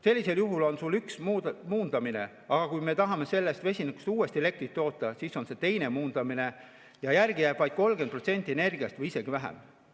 Sellisel juhul on sul üks muundamine, aga kui me tahame sellest vesinikust uuesti elektrit toota, siis on see teine muundamine ja järele jääb vaid 30% energiast või isegi vähem.